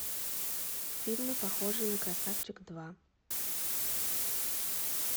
фильмы похожие на красавчик два